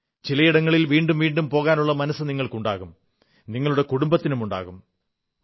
ചിലയിടങ്ങളിൽ വീണ്ടും വീണ്ടും പോകാനുള്ള മനസ്സ് നിങ്ങൾക്കുണ്ടാകും നിങ്ങളുടെ കുടുംബത്തിനുമുണ്ടാകും